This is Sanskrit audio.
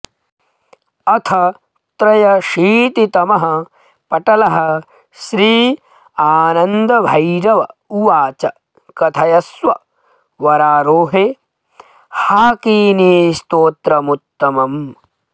अथ त्र्यशीतितमः पटलः श्रीआनन्दभैरव उवाच कथयस्व वरारोहे हाकिनीस्तोत्रमुत्तमम्